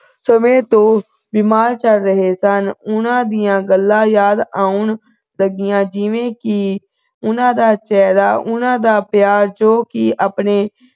ਸਮੇਂ ਤੋਂ ਬਿਮਾਰ ਚੱਲ ਰਹੇ ਸਨ ਉਨ੍ਹਾਂ ਦੀਆਂ ਗੱਲਾਂ ਯਾਦ ਆਉਣ ਲੱਗੀਆਂ ਜਿਵੇਂ ਕਿ ਉਨ੍ਹਾਂ ਦਾ ਚਿਹਰਾ ਉਨ੍ਹਾਂ ਦਾ ਪਿਆਰ ਜੋ ਕਿ ਆਪਣੇ